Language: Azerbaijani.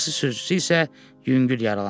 Taksi sürücüsü isə yüngül yaralandı.